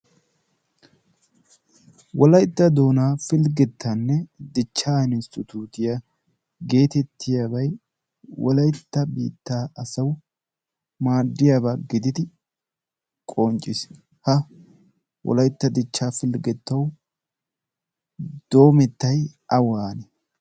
wolaytta doonaa pilggettanne dichca insttutiya geetettiyaabay wolaytta biittaa asawu maaddiyaabaa gididi qoncciis. ha wolaytta dichchaa pilggettawu doomettay awaane?